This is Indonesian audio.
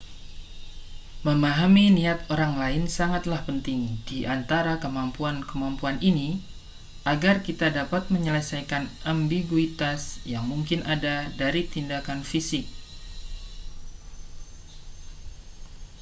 memahami niat orang lain sangatlah penting di antara kemampuan-kemampuan ini agar kita dapat menyelesaikan ambiguitas yang mungkin ada dari tindakan fisik